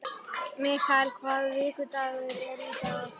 Mikael, hvaða vikudagur er í dag?